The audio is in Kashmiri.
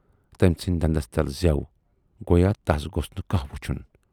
تمٔۍ ژھُنۍ دندس تل زٮ۪و گویا تَس گوژھ نہٕ کانہہ وُچھُن۔